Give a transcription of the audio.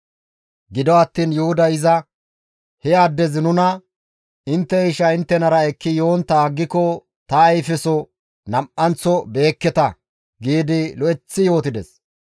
Gido attiin Yuhuday izas, «He addezi nuna, ‹Intte isha inttenara ekki yontta aggiko ta ayfeso nam7anththo be7ekketa› giidi lo7eththi yootides.